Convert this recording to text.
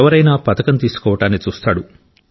ఎవరైనా పతకం తీసుకోవడాన్ని చూస్తాడు